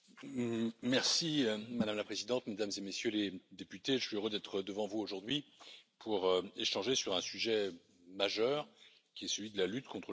Madame la Présidente, Mesdames et Messieurs les députés, je suis heureux d'être devant vous aujourd'hui pour échanger sur un sujet majeur, qui est celui de la lutte contre le financement du terrorisme.